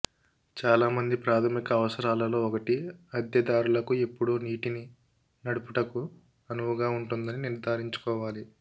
చాలామంది ప్రాధమిక అవసరాలలో ఒకటి అద్దెదారులకు ఎప్పుడూ నీటిని నడుపుటకు అనువుగా ఉందని నిర్ధారించుకోవాలి